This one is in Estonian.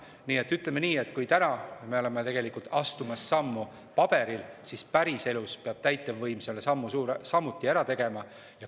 Nii et ütleme nii, et kui täna me oleme astumas sammu paberil, siis päriselus peab täitevvõim selle sammu samuti ära tegema.